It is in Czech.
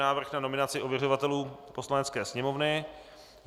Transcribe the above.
Návrh na nominaci ověřovatelů Poslanecké sněmovny